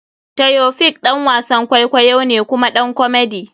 Taofiq ɗan wasan kwaikwayo ne kuma ɗan komedy.